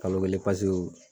Kalo kelen pasew